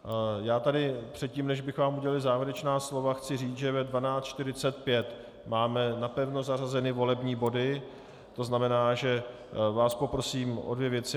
Já tady předtím, než bych vám udělil závěrečná slova, chci říct, že ve 12.45 máme napevno zařazeny volební body, to znamená, že vás poprosím o dvě věci.